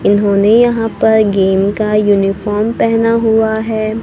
इन्होंने यहाँ पर गेम का यूनिफॉर्म पहना हुआ है।